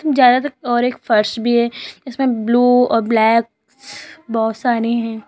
ज्यादातर और एक फर्श भी है इसमें ब्लू और ब्लैक बहोत सारे हैं।